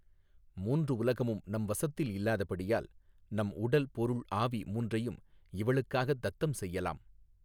மூன்று உலகமும் நம் வசத்தில் இல்லாதபடியால் நம் உடல் பொருள் ஆவி மூன்றையும் இவளுக்காகத் தத்தம் செய்யலாம்.